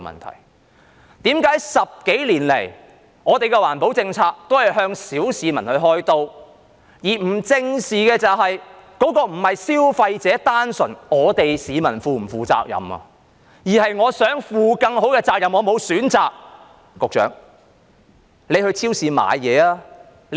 為甚麼10多年來，政府的環保政策都是向小市民開刀，而不正視這並非單純在於消費者、市民是否要負責任，而是我想負更好的責任但我沒有選擇。